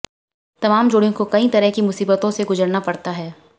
तमाम जोडिय़ों को कई तरह की मुसीबतों से गुजरना पड़ता है